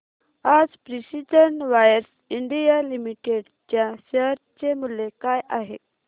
आज precision wires India limited च्या share चे मूल्य काय आहे